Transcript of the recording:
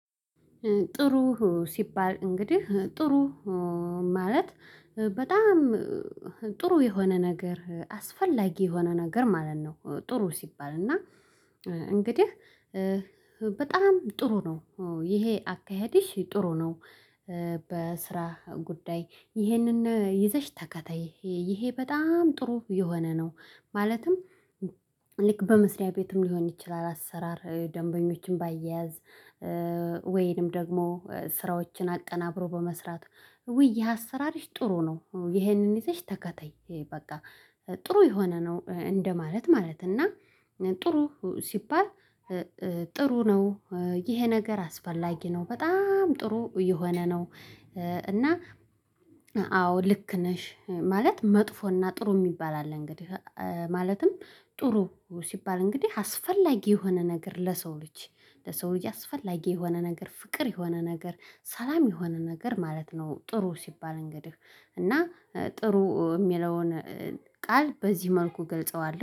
ጥሩ ሲባል እንግዲህ ጥሩ ማለት በጣም ጥሩ የሆነ ነገር አስፈላጊ የሆነ ነገር ማለት ነው። ጥሩ ሲባል እና እንግዲህ በጣም ጥሩ ነው። ይሄ አካሄድሽ ጥሩ ነው። በስራ ጉዳይ ይህንን ይዘሽ ተከተይ ይሄ በጣም ጥሩ የሆነ ነው። ማለትም ልክ በመስሪያ ቤትም ሊሆን ይችላል አሰራር ደንበኞችን ባያያዝ። ወይንም ደግሞ ስራዎችን አቀናብሮ በመስራት ውይ አሰራርሽ ጥሩ ነው። ይሄንን ይዘሽ ተከተይ በቃ ጥሩ የሆነ ነው እንደማለት ማለት እና ጥሩ ሲባል። ጥሩ ነው ይሄ ነገር አስፈላጊ ነው በጣም ጥሩ የሆነ ነው። እና አዎ ልክ ነሽ ማለት መጥፎና ጥሩ የሚባል አለ። እንግዲህ ማለትም ጥሩ ሲባል እንግዲህ አስፈላጊ የሆነ ነገር ለሰው ልጅ ለሰው ልጅ አስፈላጊ የሆነ ነገር ፍቅር የሆነ ነገር ሰላም የሆነ ነገር ማለት ነው። ጥሩ ሲባል እንግዲህ እና ጥሩ የሚለውን ቃል በዚህ መልኩ ገልጸዋለሁ